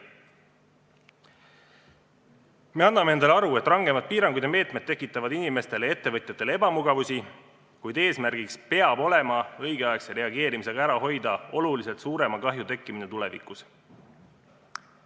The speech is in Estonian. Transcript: Me anname endale aru, et rangemad piirangud ja meetmed tekitavad inimestele ja ettevõtjatele ebamugavusi, kuid eesmärk peab olema õigeaegse reageerimisega hoida ära oluliselt suurema kahju tekkimine tulevikus.